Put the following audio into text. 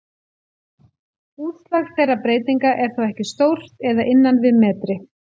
Útslag þeirra breytinga er þó ekki stórt eða innan við metri.